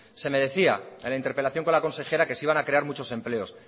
se me decía en la interpelación con la consejera que se iban a crear muchos empleos